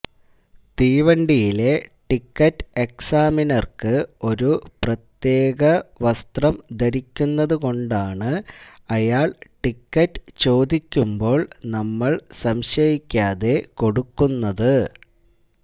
തീവണ്ടിയിലെ ticket എക്സാമിനര്ക്ക് ഒരു പ്രത്യേകം വസ്ത്രം ധരിക്കുന്നതുകൊണ്ടാണ് അയാള് ടിക്കറ്റ് ചോദിക്കുമ്പോള് നമ്മള് സംശയിക്കാതെ കൊടുക്കുന്നത്